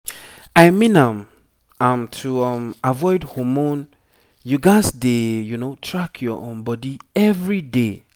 i mean am am to um avoid hormone you gats dey track your um body every day